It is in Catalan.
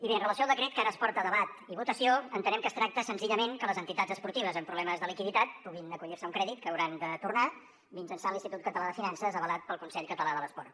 i bé amb relació al decret que ara es porta a debat i votació entenem que es tracta senzillament que les entitats esportives amb problemes de liquiditat puguin acollir se a un crèdit que hauran de tornar mitjançant l’institut català de finances avalat pel consell català de l’esport